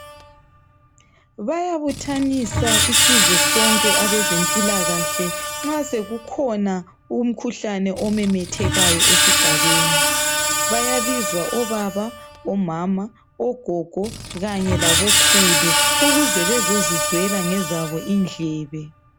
Bayabuthanisa isizwe sonke abezempilakahle nxa sokukhona umkhuhlane omemethekayo esigabeni. Bayabizwa obaba, omama, ogogo kanye labokhulu ukuze bazezizwela ngezabo indlebe.